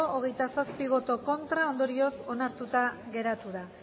hogeita zazpi ez ondorioz onartuta geratu da